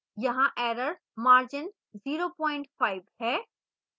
यहाँ error margin 05 है